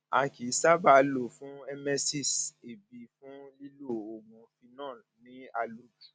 a kì í sábà lọ fún emesis èébì fún lílo oògùn phenol ní àlòjù